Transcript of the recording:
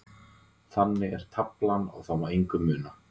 Þannig er taflan og það má engu muna.